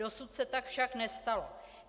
Dosud se tak však nestalo.